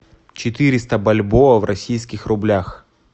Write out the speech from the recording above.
четыреста бальбоа в российских рублях